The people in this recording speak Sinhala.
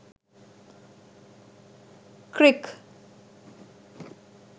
crick